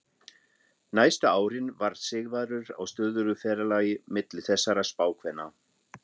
Næstu árin var Sigvarður á stöðugu ferðalagi milli þessara spákvenna.